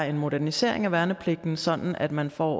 en modernisering af værnepligten sådan at man for